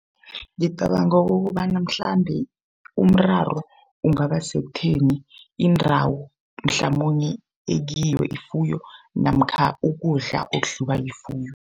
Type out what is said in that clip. Ngicabanga ukobana mhlambe umraro ungaba sekutheni indawo mhlamunye ekiyo ifuyo namkha ukudla okudliwa yifuyo.